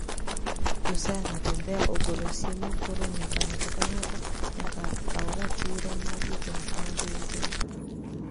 Josia niatembea ogolosiem nii koro niyaka nigato kanigato niyaka kaw ratiro mar rito nigima joweteni e